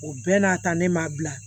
O bɛɛ n'a ta ne m'a bila